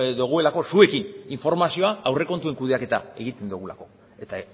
dugulako zuekin informazioa aurrekontuen kudeaketa egiten dugulako eta